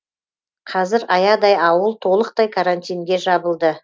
қазір аядай ауыл толықтай карантинге жабылды